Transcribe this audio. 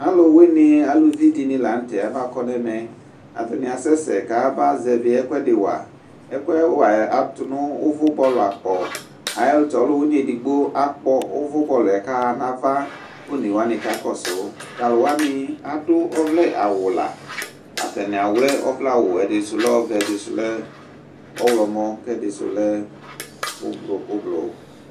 Alʋ wɩnɩ, aluvi dɩnɩ la nʋ tɛ, abakɔ nʋ ɛmɛ, atanɩ asɛsɛ kayabazɛvɩ ɛkʋ ɛdɩ wa Ɛkʋ wa yɛ atʋ nʋ ʋvʋ bɔlʋ akpɔ, Ayɛlʋtɛ ɔlʋwɩnɩ edigbo akpɔ ʋvʋ bɔlʋ yɛ kʋ aɣa nʋ ava, kʋ one wanɩ kakɔsʋ Tʋ alʋ wanɩ dʋ ɔvlɛ awʋ la, atanɩ awlɛ ɔvlɛ awʋ, ɛdɩ sʋ lɛ ɔvɛ, ɛdɩ sʋ lɛ ɔɣlɔmɔ, kʋ ɛdɩ sʋ lɛ ʋblɔ